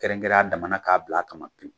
Kɛrɛnkɛrɛ a damana k'a bila a kama pew.